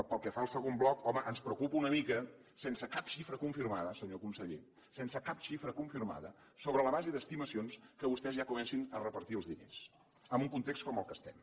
pel que fa al segon bloc home ens preocupa una mica sense cap xifra confirmada senyor conseller sense cap xifra confirmada sobre la base d’estimacions que vostès ja comencin a repartir els diners en un context com el que estem